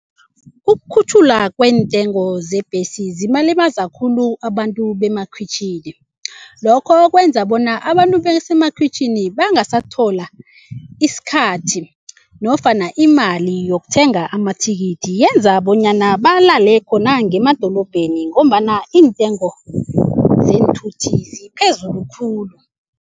Ukukhutjhulwa kweentengo zebhesi zibalimaza khulu abantu bemakhwitjhini. Lokho kwenza bona abantu basemakhwitjhini bangasathola isikhathi nofana imali yokuthenga amathikithi yenza bonyana balale khona ngemadolobheni ngombana iintengo zeenthuthi ziphezulu khulu.